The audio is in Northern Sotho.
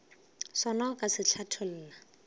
sona o ka se hlatholla